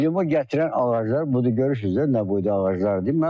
Limon gətirən ağaclar, buda görürsüz də, nə boyda ağaclardır.